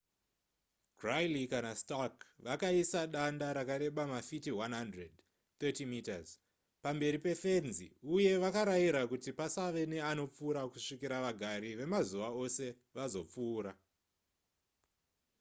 griley kana stark vakaisa danda rakareba mafiti 100 30m pamberi pefenzi uye vakaraira kuti pasave neanopfura kusvikira vagari vemazuva ose vazopfuura